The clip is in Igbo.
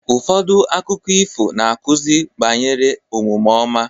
Ụfọdụ akụkọ ifo na-akụzi banyere omume ọma.